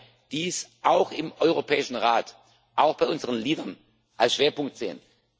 ab 3. Mai dies auch im Europäischen Rat, auch bei unseren Leadern als Schwerpunkt sehen.